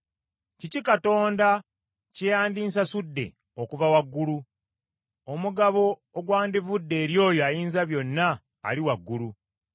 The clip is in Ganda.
Kiki Katonda kye yandinsasudde okuva waggulu, omugabo ogwandivudde eri oyo Ayinzabyonna ali waggulu?